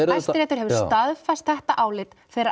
og Hæstiréttur hefur staðfest þetta álit þeirra